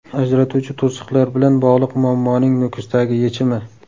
Ajratuvchi to‘siqlar bilan bog‘liq muammoning Nukusdagi yechimi.